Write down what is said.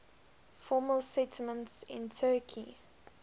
former settlements in turkey